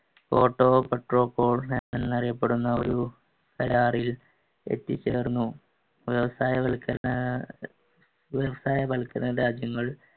എന്നറിയപ്പെടുന്ന ഒരു കരാറിൽ എത്തിച്ചേർന്നു വ്യവസായവൽക്കരണ ഏർ വ്യവസായവൽക്കരണ രാജ്യങ്ങൾ